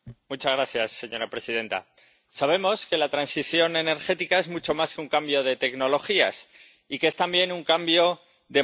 Señora presidenta. Sabemos que la transición energética es mucho más que un cambio de tecnologías, y que es también un cambio de modelo.